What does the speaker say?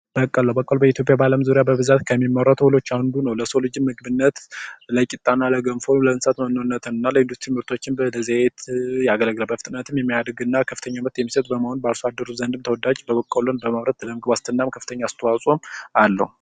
በቀሎ በቀሎ በኢትዮጵያ በብዛት ከሚመረቱ ሰብሎች ውስጥ አንዱ ሲሆን በአለም ለዳቦ ለገንፎ ለእንስሳትና ለተለያዩ ምርቶች እና ለዘይት ያገለግላል በፍጥነትም የሚያደግና ከፍተኛ ትምህርት የሚሰጥ በመሆኑ አርሶ አደሮች ዘንድም ተወዳጅ እና ከፍተኛ የሆነ የምግብ ዋስትና አስተዋጽኦ አለው።